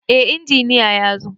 Eh, injiniya yazo